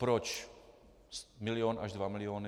Proč milion až dva miliony?